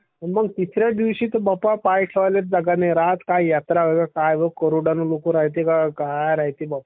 मग तिसऱ्या दिवशी ता बाप्पा पाय ठेवले जागा नाही राहत का यात्रा वय काय वय बाप्पा करोडाने लोक रायते.